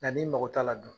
Nka n'i mago t'a la dun